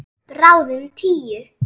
Bráðum tíu.